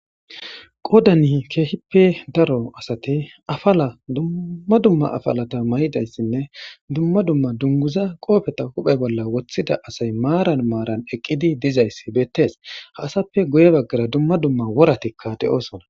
qoodani keehippe daro asati afala dumma dumma afalata may7idayssinne dumma dumma dunguza qoofeta huphe bolla woththida asay maaran maaran eqqidi dizayssi beettees ha asappe guye baggara dumma dumma woratikka de7osona